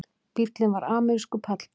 Bíllinn var amerískur pallbíll